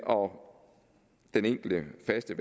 om den enkelte faste